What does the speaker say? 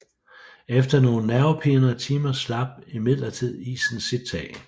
Efter nogen nervepirrende timer slap imidlertid isen sit tag